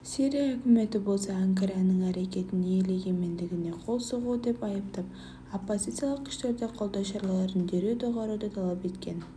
сирия үкіметі болса анкараның әрекетін ел егемендігіне қол соғу деп айыптап оппозициялық күштерді қолдау шараларын дереу доғаруды талап еткен